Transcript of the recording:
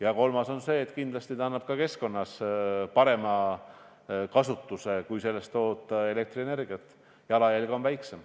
Ja kolmandaks, kindlasti on ka keskkonnale parem, kui sellest toota elektrienergiat – jalajälg on väiksem.